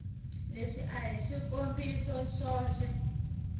leswi a hi swikombiso swoxe